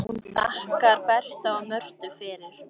Hún þakkar Berta og Mörtu fyrir.